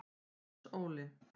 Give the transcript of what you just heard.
Hans Óli